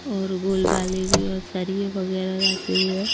और गोल बाले भी और सरिये वगैरह रखे हुए--